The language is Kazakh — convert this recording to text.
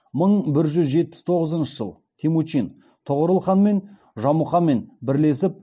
мың бір жүз жетпіс тоғызыншы жыл темучин тоғорыл хан және жамұқамен бірлесіп